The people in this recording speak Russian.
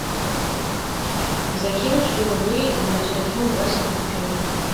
закинуть сто рублей на телефон васе пупкину